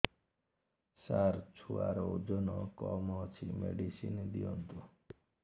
ସାର ଛୁଆର ଓଜନ କମ ଅଛି ମେଡିସିନ ଦିଅନ୍ତୁ